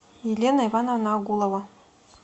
елена ивановна агулова